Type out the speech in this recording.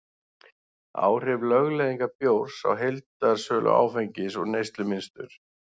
áhrif lögleiðingar bjórs á heildarsölu áfengis og neyslumynstur